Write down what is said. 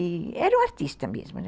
Era um artista mesmo, né?